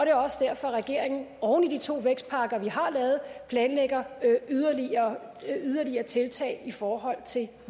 er også derfor at regeringen oven i de to vækstpakker vi har lavet planlægger yderligere yderligere tiltag i forhold til